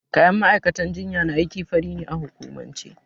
Kayan ma'aikatan jinya na aiki fari ne a hukumance.